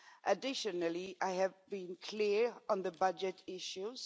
Additionally, I have been clear on the budget issues.